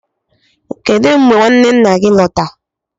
kedu mgbe nwanne nna gị lọta?